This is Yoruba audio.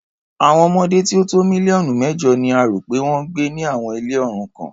Àwọn ọmọdé tí ó tó mílíọ̀nù mẹ́jọ ni a rò pé wọ́n ń gbé ni àwọn ilé òrukàn.